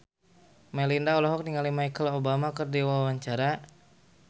Melinda olohok ningali Michelle Obama keur diwawancara